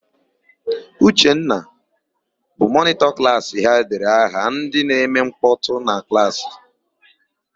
Uchenna, bụ mọnịtọ klaasị ha dere aha ndị na-eme nkpọtụ na klaasị.